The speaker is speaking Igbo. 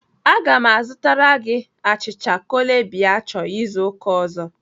Aga m azụtara gị achịcha chole bhature izu ụka ọzọ.